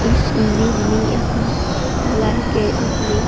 इस इमेज मे यहाँ धुलाई गैरेज मे --